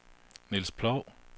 Niels Ploug